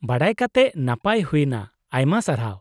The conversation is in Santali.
-ᱵᱟᱰᱟᱭ ᱠᱟᱛᱮᱫ ᱱᱟᱯᱟᱭ ᱦᱩᱭᱱᱟ, ᱟᱭᱢᱟ ᱥᱟᱨᱦᱟᱣ ᱾